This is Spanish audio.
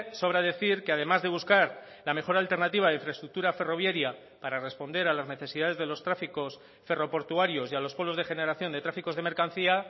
sobra decir que además de buscar la mejor alternativa de infraestructura ferroviaria para responder a las necesidades de los tráficos ferroportuarios y a los pueblos de generación de tráficos de mercancía